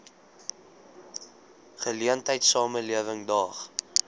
geleentheid samelewing daag